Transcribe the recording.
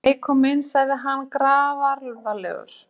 Þið megið koma inn, sagði hann grafalvarlegur.